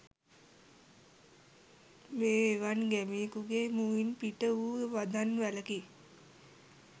මේ එවන් ගැමියෙකුගේ මුවින් පිට වූ වදන් වැලකි